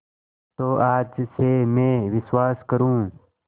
तो आज से मैं विश्वास करूँ